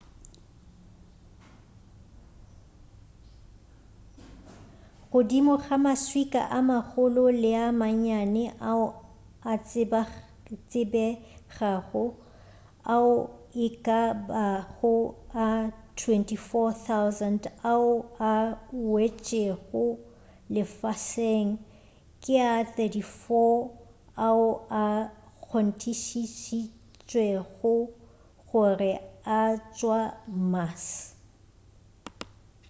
godimo ga maswika a magolo le a mannyane ao a tsebegago ao e ka bago a 24,000 ao a wetšego lefaseng ke a 34 fela ao a kgonthišišitšwego gore a tšwa mars